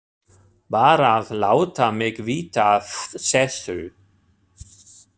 Bara að láta mig vita af þessu.